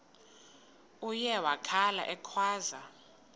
uye wakhala ekhwaza